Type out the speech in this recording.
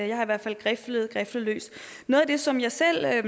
jeg har i hvert fald griflet og griflet løs noget af det som jeg selv er